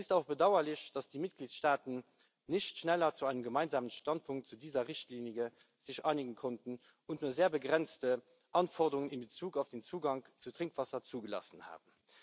Es ist auch bedauerlich, dass sich die Mitgliedstaaten nicht schneller zu einem gemeinsamen Standpunkt zu dieser Richtlinie einigen konnten und nur sehr begrenzte Anforderungen in Bezug auf den Zugang zu Trinkwasser zugelassen haben.